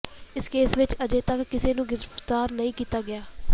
ਇਸ ਕੇਸ ਵਿਚ ਅਜੇ ਤੱਕ ਕਿਸੇ ਨੂੰ ਗਿਰਫ਼ਤਾਰ ਨਹੀਂ ਕੀਤਾ ਗਿਆ